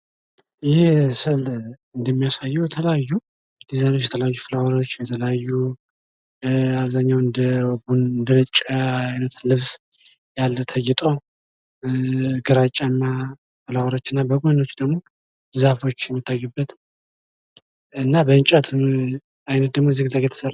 ይህ ስዕል እንደሚያሳየው የተለያዩ ዲዛይን የተለያዩ ፍላወሮች አብዛኛውን የተለያዩ እንደነጭ ያለ ልብስ ተጊጦ ግራጫ እና ፍላወሮች እና በጎኖቹ ደግሞ ዛፎች የሚታዩበት እና ደግሞ በእንጨት ዚግዛግ የተሰራ ነው::